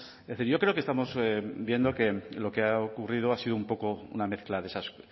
es decir yo creo que estamos viendo que lo que ha ocurrido ha sido un poco una mezcla de esas